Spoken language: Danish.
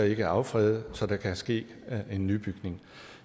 ikke at affrede så der kan ske en nybygning